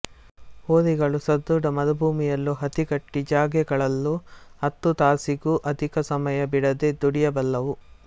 ಹೋರಿಗಳು ಸಧೃಡ ಮರುಭೂಮಿಯಲ್ಲೂ ಅತಿಗಟ್ಟಿ ಜಾಗೆಗಳಲ್ಲೂ ಹತ್ತು ತಾಸಿಗೂ ಅಧಿಕ ಸಮಯ ಬಿಡದೆ ದುಡಿಯಬಲ್ಲವು